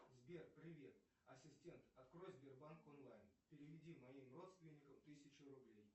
сбер привет ассистент открой сбербанк онлайн переведи моим родственникам тысячу рублей